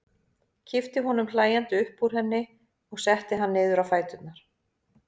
Kippti honum hlæjandi upp úr henni og setti hann niður á fæturna.